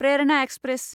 Prerna express